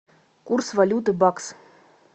курс валюты бакс